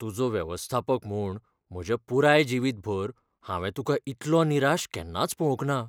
तुजो वेवस्थापक म्हूण म्हज्या पुराय जिवीतभर, हांवें तुका इतलो निराश केन्नाच पळोवंक ना.